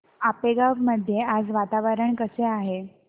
आपेगाव मध्ये आज वातावरण कसे आहे